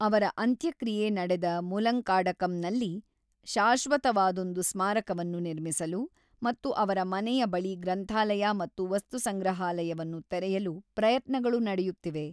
ಅವರ ಅಂತ್ಯಕ್ರಿಯೆ ನಡೆದ ಮುಲಂಕಾಡಕಂನಲ್ಲಿ ಶಾಶ್ವತವಾದೊಂದು ಸ್ಮಾರಕವನ್ನು ನಿರ್ಮಿಸಲು ಮತ್ತು ಅವರ ಮನೆಯ ಬಳಿ ಗ್ರಂಥಾಲಯ ಮತ್ತು ವಸ್ತುಸಂಗ್ರಹಾಲಯವನ್ನು ತೆರೆಯಲು ಪ್ರಯತ್ನಗಳು ನಡೆಯುತ್ತಿವೆ.